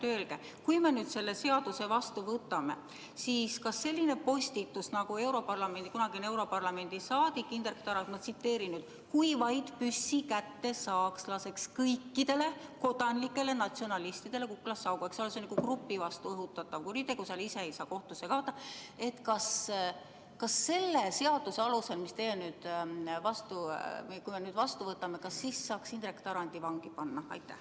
Öelge, kui me nüüd selle seaduse vastu võtame, siis kas sellise postituse pärast, nagu tegi kunagine europarlamendi saadik Indrek Tarand : "Kui vaid püssi kätte saaks, laseks kõikidele kodanlikele natsionalistide kuklasse augu" – see on nagu grupi vastu õhutatav kuritegu, selle korral ise ei saa kohtusse kaevata –, saaks selle seaduse alusel, juhul kui me teie esitatud eelnõu seadusena vastu võtame, Indrek Tarandi vangi panna?